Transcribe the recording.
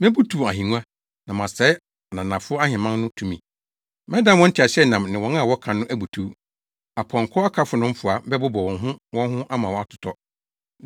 Mebutuw ahengua, na masɛe ananafo aheman no tumi. Mɛdan wɔn nteaseɛnam ne wɔn a wɔka no abutuw. Apɔnkɔ akafo no mfoa bɛbobɔ wɔn ho wɔn ho ama wɔatotɔ.